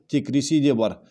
тек ресейде бар